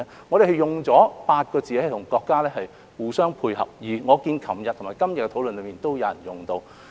我們用了8個字和國家互相配合，而我看到昨天和今天的討論上亦有議員用到。